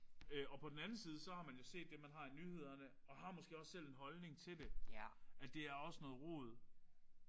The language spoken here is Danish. Øh og på den anden side så har man jo set det man har i nyhederne og har måske også selv en holdning til det. Altså det er også noget rod